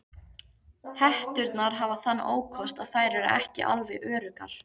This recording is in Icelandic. Hetturnar hafa þann ókost að þær eru ekki alveg öruggar.